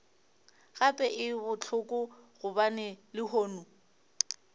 gape e bohloko gobane lehono